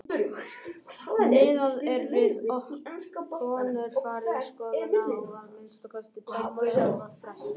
Miðað er við að konur fari í skoðun á að minnsta kosti tveggja ára fresti.